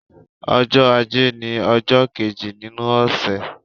Ọjọ́ ajé ni ọjọ́ kéjì nínú ọ̀sẹ̀.